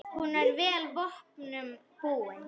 Hún er vel vopnum búin.